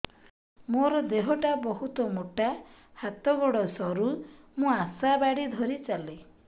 ମୋର ଦେହ ଟା ବହୁତ ମୋଟା ହାତ ଗୋଡ଼ ସରୁ ମୁ ଆଶା ବାଡ଼ି ଧରି ଚାଲେ